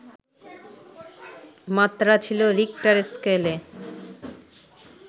মাত্রা ছিল রিখটার স্কেলে